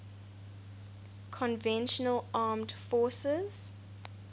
conventional armed forces